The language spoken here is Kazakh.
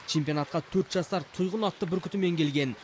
чемпионатқа төрт жасар тұйғын атты бүркітімен келген